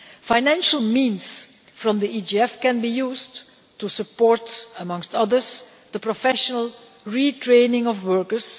Financial means from the EGF can be used to support, amongst others, the professional retraining of workers.